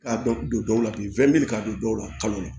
Ka dɔ don dɔw la bi ka don dɔw la kalo la